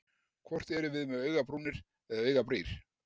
Hvort erum við með augabrúnir eða augabrýr?